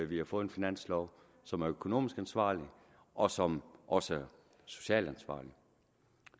vi har fået en finanslov som er økonomisk ansvarlig og som også er socialt ansvarlig